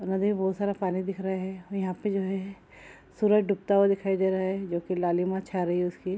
और नदी में बहुत सारा पानी दिख रहा है और यहाँ पे जो है सूरज डूबता हुआ दिखाई दे रहा है जो कि लालिमा छा रही उसकी ।